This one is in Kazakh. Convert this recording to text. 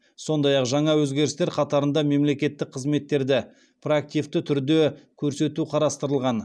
сондай ақ жаңа өзгерістер қатарында мемлекеттік қызметтерді проактивті түрде көрсету қарастырылған